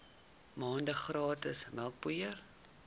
maande gratis melkpoeier